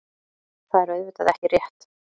Það er auðvitað ekki rétt.